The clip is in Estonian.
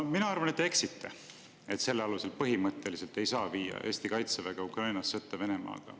No mina arvan, et te eksite, öeldes, et selle alusel põhimõtteliselt ei saa viia Eesti kaitseväge Ukrainas sõtta Venemaaga.